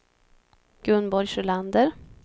Gunborg Sjölander